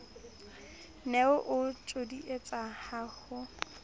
ne o ntjodietsa ha o